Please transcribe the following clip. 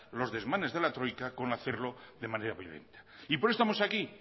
los desmanes de la troika con hacerlo de manera violenta y por eso estamos aquí